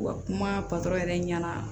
Wa kuma patɔrɔn yɛrɛ ɲɛna